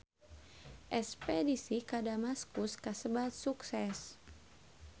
Espedisi ka Damaskus kasebat sukses